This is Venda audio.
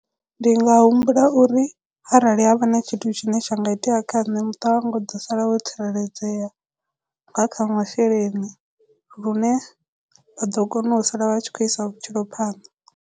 Ndi nga humbula uri arali havha na tshithu tshine tsha nga itea kha nṋe muṱa wanga u ḓo sala wo tsireledzea nga kha masheleni lune vha ḓo kona u sala vha tshi khou isa vhutshilo phanḓa.